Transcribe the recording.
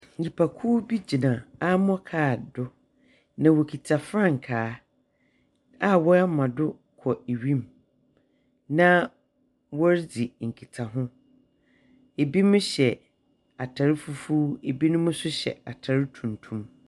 Nnipakow bi gyina ammor car do, na wokita frankaa a wɔama do kɔ ewim, na wɔredzi nkitaho. Ebinom hyɛ atar fufuw, ebinom nso hyɛ atar tuntum.